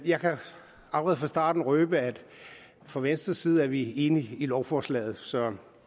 jeg kan allerede fra starten røbe at fra venstres side er vi enige i lovforslaget så